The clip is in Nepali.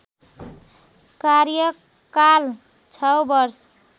कार्यकाल ६ वर्ष